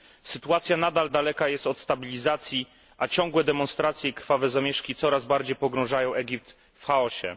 Sytuacja nadal daleka jest od stabilizacji, a ciągłe demonstracje i krwawe zamieszki coraz bardziej pogrążają Egipt w chaosie.